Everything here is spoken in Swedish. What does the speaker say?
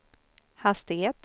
hastighet